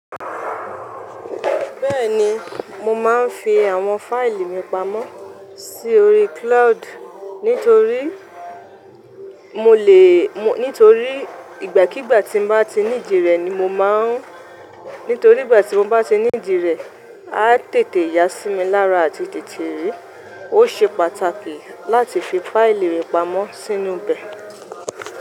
Bẹ́ẹ̀ni, mo máa ń fi àwọn fáìlì mi pamọ́ si órí cloud nítorí mo lè, nítorí ìgbàkígbà tí n bá ti needi rẹ̀ ni mo máa ń, nítorí ìgbà tí mo bá ti needi rẹ̀ a tètè yá sí mi lára àti tètè rí. Ó ṣe pàtàkì láti fi fáìlì rẹ pamọ́ sínú bẹ̀.